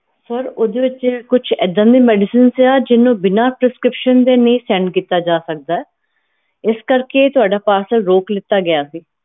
sir ਓਹਦੇ ਵਿਚ ਕੁਛ ਇੱਦਾਂ ਦੀ medicines ਸਿਗੀਆਂ ਜਿਹਨੂੰ ਬਿਨਾ prescription ਦੇ ਨਹੀਂ send ਕੀਤਾ ਜਾ ਸਕਦਾ ਏ ਇਸ ਕਰਕੇ ਤੁਹਾਡਾ parcel ਰੋਕ ਲਿੱਤਾ ਗਿਆ ਸੀ